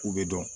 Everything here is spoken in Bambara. K'u bɛ dɔn